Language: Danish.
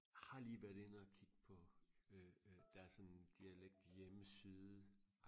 har lige været inde og kigge på øh øh deres sådan dialekt hjemmeside